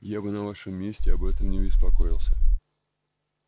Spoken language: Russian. я бы на вашем месте об этом не беспокоился